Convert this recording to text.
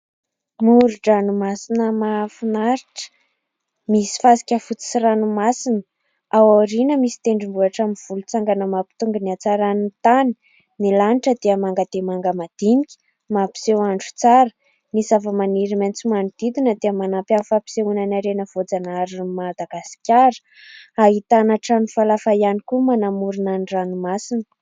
Moron-dranomasina mahafinaritra. Misy fasika fotsy sy ranomasina. Ao aoriana misy tendrombohitra amin'ny volontsangana mampitombo ny hatsaran'ny tany. Ny lanitra dia manga dia manga madinika mampiseho andro tsara. Ny zavamaniry maitso manodidina dia manampy amin'ny fampisehoana ny harena voajanaharin'i Madagasikara. Ahitana trano falafa ihany koa manamorona ny ranomasina.